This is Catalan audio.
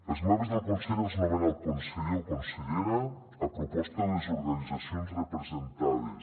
els membres del consell els nomena el conseller o consellera a proposta de les organitzacions representades